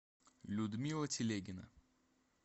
людмила телегина